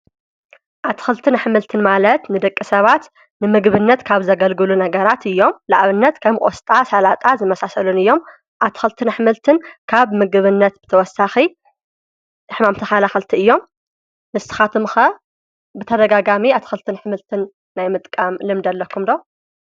ኣትክልትን ኣሕምልትን ማለት ንደቂ ሰባት ንምግብነት ካብ ዘገልግሉ ነገራት እዮም ። ንኣብነት፦ ከም ቆስጣ፣ ስላጣ ዝመሳሰሉን እዮም። ኣትክልትን ኣሕምልትን ካብ ብምግብነት ብተወሳኪ ሕማም ተከላከልቲ እዮም ። ንስካትኩም ከ ብተደጋጋሚ ኣትክልትን ኣሕምልትን ናይ ምጥቃም ለምዲ ኣለኩም ዶ?